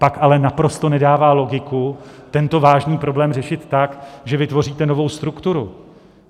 Pak ale naprosto nedává logiku tento vážný problém řešit tak, že vytvoříte novou strukturu.